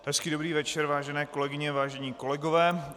Hezký dobrý večer vážené kolegyně, vážení kolegové.